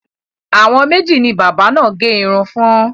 Àwọn méjì ni bábà náà gẹ irun fún.